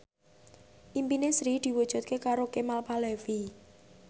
impine Sri diwujudke karo Kemal Palevi